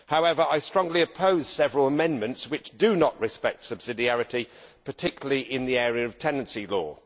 However, I strongly oppose several amendments which do not respect subsidiarity, particularly in the area of tenancy law.